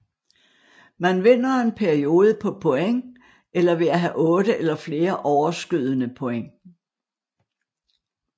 Man vinder en periode på point eller ved at have 8 eller flere overskydende point